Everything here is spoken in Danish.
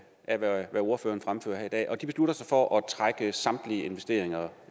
af hvad ordføreren fremfører her i dag og de beslutter sig for at trække samtlige investeringer